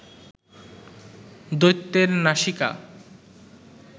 দৈত্যের নাসিকা